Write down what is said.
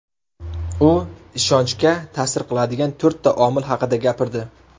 U ishonchga ta’sir qiladigan to‘rtta omil haqida gapirdi.